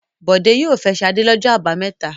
Bọ̀dé yóò fẹ́ Ṣadé lọ́jọ́ àbámẹ́ta.